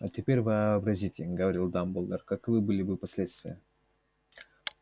а теперь вообразите говорил дамблдор каковы были бы последствия